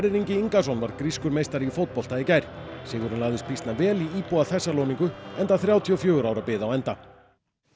Ingi Ingason varð grískur meistari í fótbolta í gær sigurinn lagðist býsna vel í íbúa enda þrjátíu og fjögurra ára bið á enda